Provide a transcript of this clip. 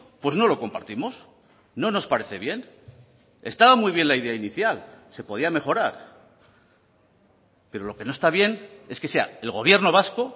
pues no lo compartimos no nos parece bien estaba muy bien la idea inicial se podía mejorar pero lo que no está bien es que sea el gobierno vasco